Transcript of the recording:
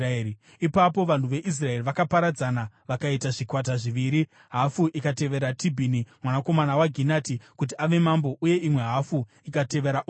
Ipapo vanhu veIsraeri vakaparadzana vakaita zvikwata zviviri; hafu ikatevera Tibhini, mwanakomana waGinati, kuti ave mambo, uye imwe hafu ikatevera Omuri.